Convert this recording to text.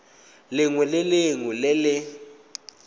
lengwe le lengwe le le